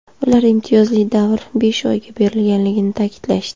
Ular imtiyozli davr besh oyga berilganligini ta’kidlashdi.